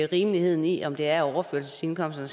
rimeligheden i om det er overførselsindkomsterne